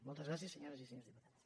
moltes gràcies senyores i senyors diputats